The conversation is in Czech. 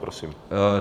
Prosím.